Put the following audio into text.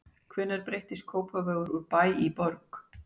Hvenær breytist Kópavogur úr bæ í borg?